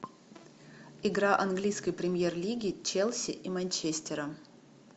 игра английской премьер лиги челси и манчестера